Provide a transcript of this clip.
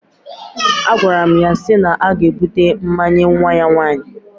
Agwaram ya si na aga ebute mmanya nwa ya nwaanyi